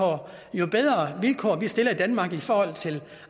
jo bedre vilkår vi stiller i danmark i forhold til